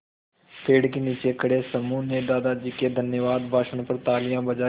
पेड़ के नीचे खड़े समूह ने दादाजी के धन्यवाद भाषण पर तालियाँ बजाईं